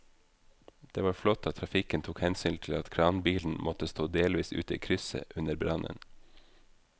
Det var flott at trafikken tok hensyn til at kranbilen måtte stå delvis ute i krysset under brannen.